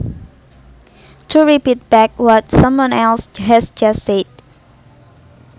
To repeat back what someone else has just said